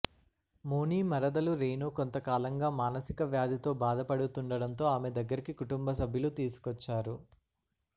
మోనీ మరదలు రేణూ కొంత కాలంగా మానసిక వ్యాధితో బాధపడుతుండడంతో ఆమె దగ్గరికి కుటుంబసభ్యులు తీసుకొచ్చారు